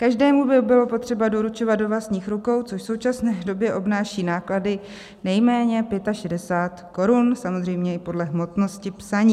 Každému by bylo potřeba doručovat do vlastních rukou, což v současné době obnáší náklady nejméně 65 korun, samozřejmě i podle hmotnosti psaní.